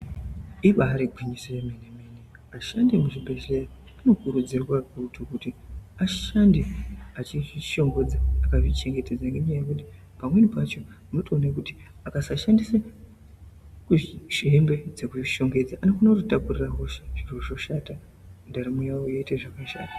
Ibaregwinyise yemenemene ashandi emuzvibhedlera anokurudzirwa kutukuti ashande achizvishongodza akazvichengetedze ngenyaya yekuti pamweni pacho munotowone kuti akasashandise zviyembe dzekuzvishongedza anogona kutitakurire hosha zvozvoshata ndaramo yawo yoita zvakashata.